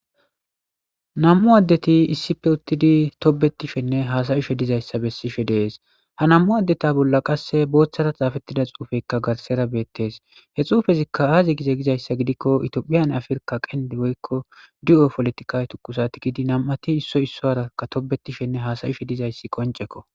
Namu addeti issipe uttidi tobettishenne haasayishe diza issa bessishe de'ees. Ha namu addeta bolla qassi bootta tsafettida tsufekka garsara be'ettees. He tsufezikka haaza gize gidikko Toophiyaanne Afirkka kenddi woyko poolitika tukkusa tikidi namati isso issuwara tobettishe haasayishe diza issa qoncceko.